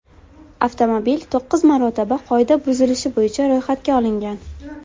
Avtomobil to‘qqiz marotaba qoida buzilishi bo‘yicha ro‘yxatga olingan.